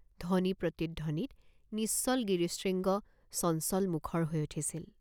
ধ্বনি প্ৰতিধ্বনিত নিশ্চল গিৰিশৃঙ্গ চঞ্চলমুখৰ হৈ উঠিছিল।